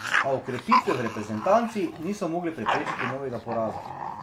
A okrepitve v reprezentanci niso mogle preprečiti novega poraza.